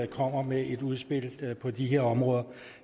kommer med et udspil på de her områder